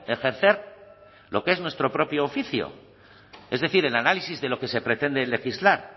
ejercer lo que es nuestro propio oficio es decir el análisis de lo que se pretende legislar